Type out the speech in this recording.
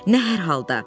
Nə hər halda?